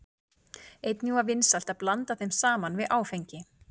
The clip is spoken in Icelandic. Einnig er vinsælt að blanda þeim saman við áfengi.